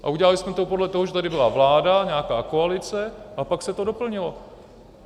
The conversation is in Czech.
A udělali jsme to podle toho, že tady byla vláda, nějaká koalice, a pak se to doplnilo.